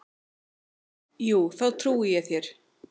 Jú, þá trúi ég þér.